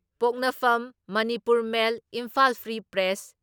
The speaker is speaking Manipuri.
ꯄꯣꯛꯅꯐꯝ, Manipur Mail, Imphal Free press,